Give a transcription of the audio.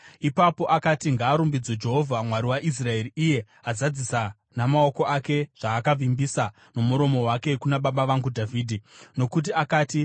Ipapo akati: “Ngaarumbidzwe Jehovha, Mwari waIsraeri iye azadzisa namaoko ake zvaakavimbisa nomuromo wake kuna baba vangu Dhavhidhi. Nokuti akati,